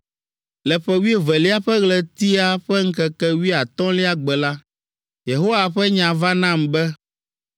Le ƒe wuievelia ƒe ɣletia ƒe ŋkeke wuiatɔ̃lia gbe la, Yehowa ƒe nya va nam be,